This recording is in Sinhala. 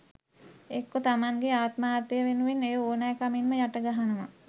එක්කො තමන්ගේ ආත්මාර්ථය වෙනුවෙන් එය ඕනැකමින්ම යට ගහනවා